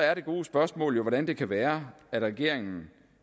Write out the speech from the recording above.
er det gode spørgsmål jo hvordan det kan være at regeringen